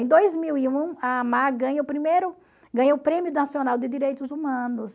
Em dois mil e um, a ganha o primeiro, ganha o Prêmio Nacional de Direitos Humanos.